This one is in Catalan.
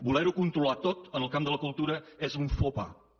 voler ho controlar tot en el camp de la cultura és un faux pas